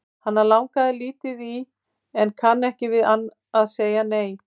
Hana langar lítið í en kann ekki við að segja nei.